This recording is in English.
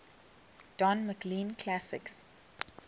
don mclean classics